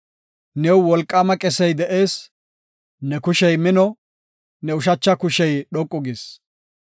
New wolqaama qesey de7ees; ne kushey mino; ne ushacha kushey dhoqu gis.